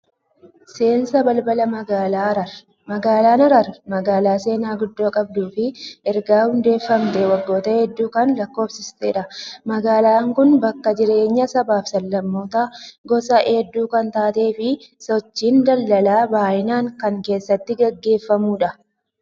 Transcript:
Seensa balbala magaalaa Hararii. Magaalaan Hararii magaalaa seenaa guddoo qabduu fi erga hundeeffamtee waggoota hedduu kan lakkoofsiftedha. Magaalaan kun bakka jireenyaa sabaa fi sab-lammootaa gosa hedduu kan taatee fi sochiin daldalaa baay'inaan kan keessatti gaggeeffamudha.